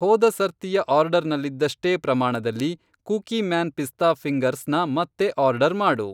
ಹೋದ ಸರ್ತಿಯ ಆರ್ಡರ್ನಲ್ಲಿದ್ದಷ್ಟೇ ಪ್ರಮಾಣದಲ್ಲಿ ಕುಕೀಮ್ಯಾನ್ ಪಿಸ್ತಾ ಫಿ಼ಂಗರ್ಸ್ ನ ಮತ್ತೆ ಆರ್ಡರ್ ಮಾಡು.